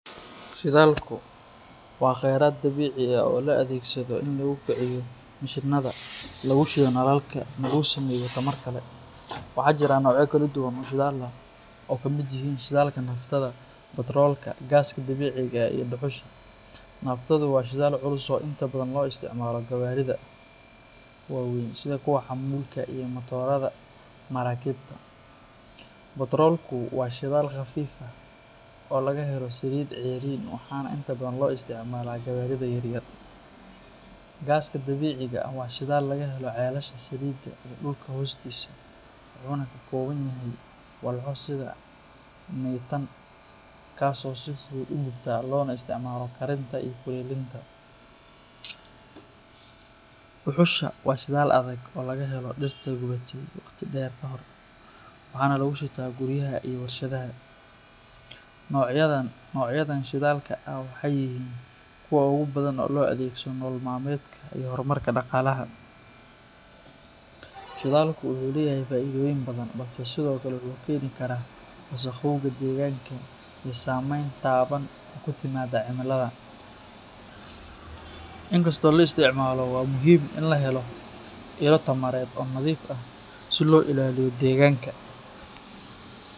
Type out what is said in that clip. Shidaalku waa kheyraad dabiici ah oo loo adeegsado in lagu kiciyo mishiinada, lagu shido nalalka, ama lagu sameeyo tamar kale. Waxaa jira noocyo kala duwan oo shidaal ah oo ay ka mid yihiin shidaalka naaftada, baatroolka, gaaska dabiiciga ah iyo dhuxusha. Naaftadu waa shidaal culus oo inta badan loo isticmaalo gawaarida waaweyn sida kuwa xamuulka iyo matoorada maraakiibta. Baatroolku waa shidaal khafiif ah oo laga helo saliidda ceeriin waxaana inta badan loo isticmaalaa gawaarida yaryar. Gaaska dabiiciga ah waa shidaal laga helo ceelasha saliidda iyo dhulka hoostiisa, wuxuuna ka kooban yahay walxo sida mitaan kaas oo si fudud u gubta loona isticmaalo karinta iyo kuleylinta. Dhuxusha waa shidaal adag oo laga helo dhirta gubatay waqti dheer ka hor, waxaana lagu shitaa guryaha iyo warshadaha. Noocyadan shidaalka ah waxay yihiin kuwa ugu badan ee loo adeegsado nolol maalmeedka iyo horumarka dhaqaalaha. Shidaalku wuxuu leeyahay faa’iidooyin badan balse sidoo kale wuxuu keeni karaa wasakhowga deegaanka iyo saameyn taban oo ku timaadda cimilada. Inkastoo la isticmaalo, waxaa muhiim ah in la helo ilo tamareed oo nadiif ah si loo ilaaliyo deegaanka.